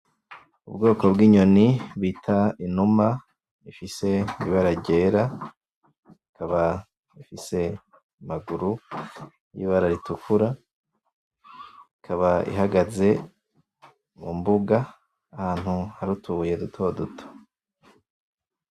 Ubwoko bw'inyoni bita inuma ifise ibara ryera ikaba ifise amaguru y'ibara ritukura ikaba ihagaze mumbuga ahantu hari utubuye dutoduto.